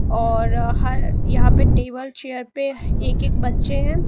और हर यहां पे टेबल चेयर पे एक एक बच्चे हैं।